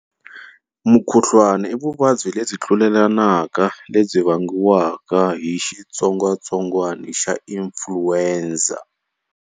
Mukhuhlwana, i vuvabyi lebyi tlulelanaka lebyi vangiwaka hi xitsongwatsongwana xa influenza.